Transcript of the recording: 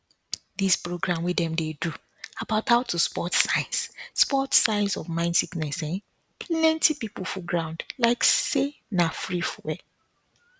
dis program wey dem do about how to spot signs spot signs of mind sickness[um]plenty pipul full ground like say na free fuel